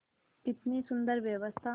कितनी सुंदर व्यवस्था